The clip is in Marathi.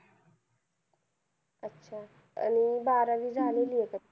अच्छा आणि बारावी झालेली आहे का?